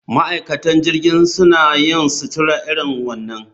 Ma'aikatan jirgin suna yin sutura irin wannan